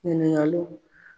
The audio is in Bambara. Ɲininkaliw